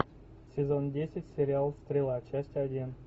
сезон десять сериал стрела часть один